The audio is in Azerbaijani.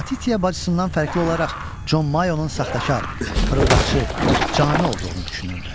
Latitiya bacısından fərqli olaraq Con Mayonun saxtakar, fırıldaqçı canı olduğunu düşünürdü.